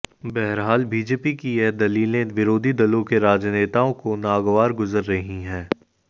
बहरहाल बीजेपी की यह दलीलें विरोधी दलों के राजनेताओं को नागवार गुज़र रही हैं